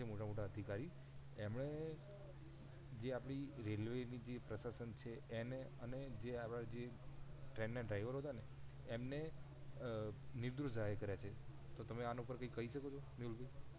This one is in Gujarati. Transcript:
મોટા મોટા અધિકારી એમણે જે આપણી. રેલ્વે ની પ્રશાસન છે એને અને આવા જે ટ્રેન ના ડ્રાઈવરો હતા એમને નિર્દોસ જાહેર કર્યા છે તો તમે આના ઉપર થી કઈ શકો છો મેહુલ ભઈ